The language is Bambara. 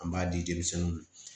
An b'a di denmisɛnnuw ma